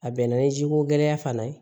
A bɛnna ni jiko gɛlɛya fana ye